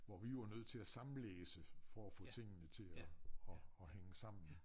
Hvor vi jo var nødt til at sammenlæse for at få tingene til at at at hænge sammen